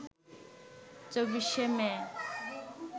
২৪শে মে